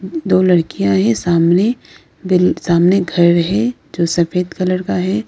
दो लड़कियां यह सामने बिल सामने घर है जो सफेद कलर का है।